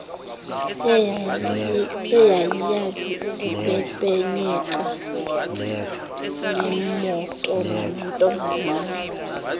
eyayiyazi ukupepenyeka ngemotonamantombazane